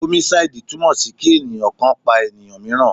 Homicide túmọ̀ sí kí ènìyàn kan pa ènìyàn míìràn.